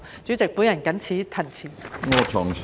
主席，我謹此陳辭。